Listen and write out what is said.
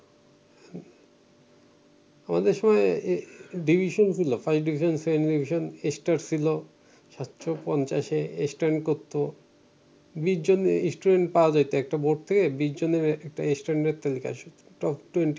division ছিল first division second division star ছিল সাতশ পঞ্চাশে স্ট্যান্ড করতো বিশজন স্টুডেন্ট পাওয়া যাইতো একটা বোর্ড থেকে বিশজনের একটা স্ট্যান্ডার্ড তালিকা আসতো টপ টুয়েন্টি